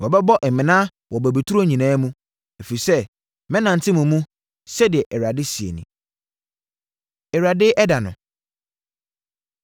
Wɔbɛbɔ mmena wɔ bobeturo nyinaa mu, ɛfiri sɛ mɛnante mo mu,” sɛdeɛ Awurade seɛ nie. Awurade Ɛda No